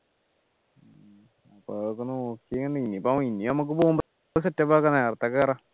അപ്പൊ അതൊക്കെ നോക്കി നിങ്ങായിപ്പോ ഇനി നമ്മക്ക് പോകുമ്പോ set up ആക്കണം നേരത്തെ കേറാം